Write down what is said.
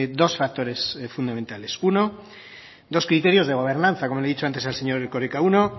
dos factores fundamentales uno dos criterios de gobernanza como le he dicho antes al señor erkoreka uno